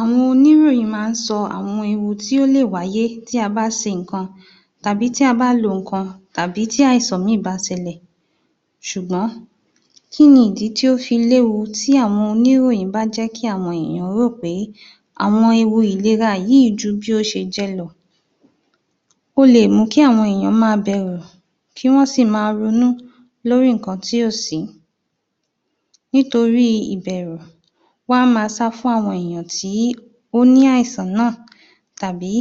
Àwọn oníròyín máa ń sọ àwọn ewu tí ó lè wàyé tí a bá ń se nǹkan tàbí tí a bá lo nǹkan tàbí tí àìsàn mí-ìn bá ṣẹ lè, ṣùgbọ́n kí ni ìdí tí ó fi léwu tí àwọn oníròyìn bá jẹ́ kí àwọn ènìyàn mọ̀ pé àwọn ewu ìlera yí ju bí ó ṣe jẹ́ lọ. Ó le mú kí àwọn ènìyàn ma bẹ̀rù, kí wọ́n sì ma ronú, lórí nǹkan tí ò sí nítorí ìbẹ̀rù, wọ́n á ma sá fún àwọn èèyàn tí ó ní àìsàn náà tàbí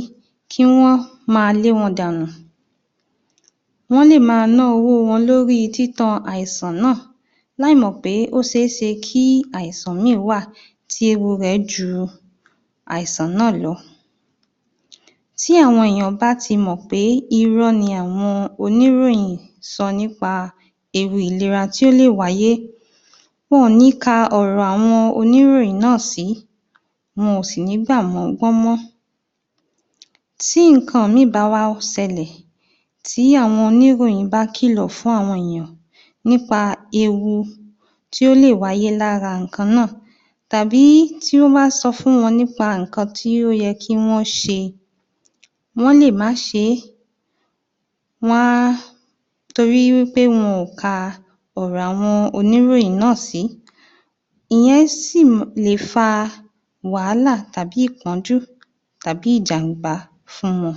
kí wọ́n ma lé wọn dànù, wọ́n lè ma ná owó wọn lórí títán àìsàn náà láì mọ̀ pé ó ṣeéṣe kí àìsàn mí-ìn wà tí ewu rẹ̀ ju àìsàn náà lọ, tí àwọn èèyàn bá ti mọ̀ pé irọ́ ni àwọn oniròyin sọ nípa ewu ìlera tí ó lè wáyé, wọn ò ní ka ọ̀rọ̀ àwọn oníròyìn náà sí, wọn ò sì ní gbà wọ́n gbọ́ mọ́, tí nǹkan mí-ìn bá wá ṣẹlẹ̀, tí àwọn oníròyìn bá kìlọ̀ fún àwọn ènìyàn nípa ewu tí ó lè wáyé lára nǹkan náà tàbí tí wọ́n bá ń sọ fún wọn nípa nǹkan tí ó yẹ kí wọ́n ṣe, wọ́n lè má ṣé, wọ́n a, torí wí pé wọn ò ka ọ̀rọ̀ àwọn oníròyìn náà sí, ìyẹn sì lè fa wàhálà, tàbí ìpọ́njú tàbí ìjam̀bá fún wọn.